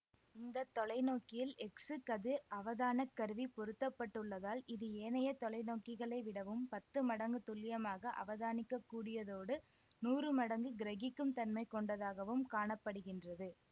இந்த தொலைநோக்கியில் எக்சுகதிர் அவதானக்கருவி பொருத்தப்பட்டுள்ளதால் இது ஏனைய தொலைநோக்கிகளை விடவும் பத்து மடங்கு துள்ளியமாக அவதானிக்ககூடியதோடு நூறு மடங்கு கிரகிக்கும் தன்மை கொண்டதாகவும் காண படுகின்றது